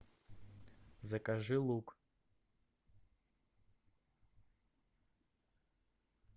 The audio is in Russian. закажи лук